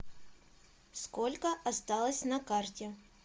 сколько осталось на карте